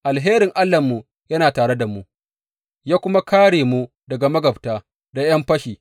Alherin Allahnmu yana tare da mu, ya kuma kāre mu daga magabta da ’yan fashi.